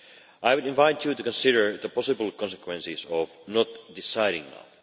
I would invite you to consider the possible consequences of not deciding now.